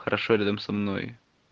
хорошо рядом со мной